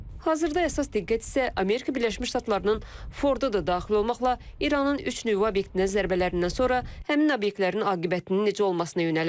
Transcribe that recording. Hazırda əsas diqqət isə Amerika Birləşmiş Ştatlarının Fordu da daxil olmaqla İranın üç nüvə obyektinə zərbələrindən sonra həmin obyektlərin aqibətinin necə olmasına yönəlib.